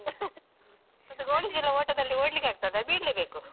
ಮತ್ತೆ ಗೋಣಿ ಚೀಲ ಓಟದಲ್ಲಿ ಓಡ್ಲಿಕ್ಕಾಗ್ತದ? ಬೀಳ್ಳೆ ಬೇಕು.